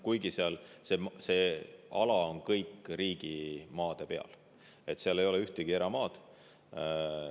Kuigi see ala on kõik riigimaade peal, seal ei ole ühtegi eramaad.